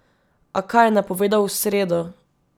A kaj je napovedal v sredo?